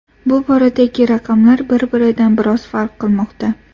Bu boradagi raqamlar bir-biridan biroz farq qilmoqda.